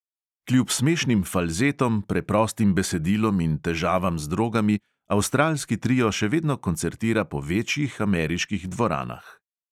Kljub smešnim falzetom, preprostim besedilom in težavam z drogami avstralski trio še vedno koncertira po večjih ameriških dvoranah.